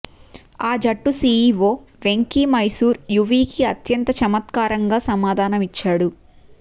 ఆ జట్టు సీఈవో వెంకీ మైసూర్ యువీకి అత్యంత చమత్కారంగా సమాధానం ఇచ్చాడు